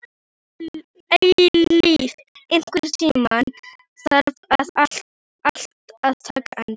Eilíf, einhvern tímann þarf allt að taka enda.